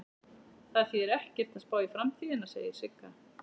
Það þýðir ekkert að spá í framtíðina, segir Sigga.